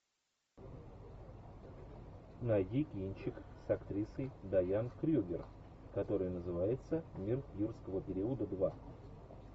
найди кинчик с актрисой дайан крюгер который называется мир юрского периода два